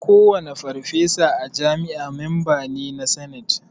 Kowane farfesa a jami'a memba ne na sanate